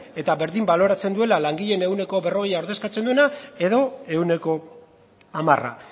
eta berdin baloratzen duela langileen ehuneko berrogeia ordezkatzen duena edo ehuneko hamara